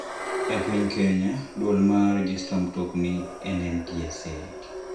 Ei piny Kenya, duol ma rejesta mtokni en NTSA.